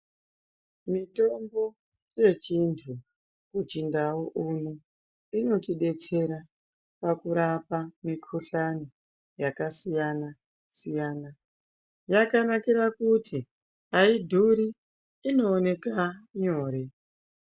Mitombo yechindwe kuchindau uno inotidetsera pakurapa mikuhlani yakasiyana siyana, yakanakira kuti aidhuri inooneka nyore.